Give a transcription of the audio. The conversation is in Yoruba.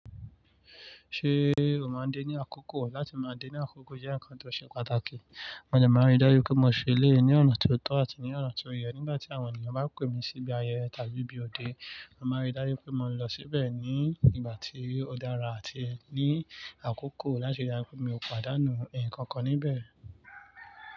Ṣé o máa ń dé ní àkókò? Láti máa dé ní àkókò jẹ́ ǹkan tó ṣe pàtàkì. Mo dẹ máa ń rí dájú pé mo ṣílé ní ọ̀nà tó tọ́ àti ní ọ̀nà tó yẹ. Nígbà tí àwọn ènìyàn bá pè mí síbi ayẹyẹ tàbí ibi òde, mo màá rí dájú pé mo ń lọ síbẹ̀ ní ìgbà tí ó dára àti ẹ ní àkókò láti dájú pé mi ò pàdánù ǹkankan níbẹ̀.